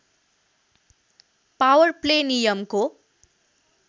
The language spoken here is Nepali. पावर प्ले नियमको